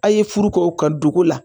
A' ye furu ko ka dugu la